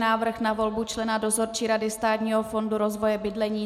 Návrh na volbu člena Dozorčí rady Státního fondu rozvoje bydlení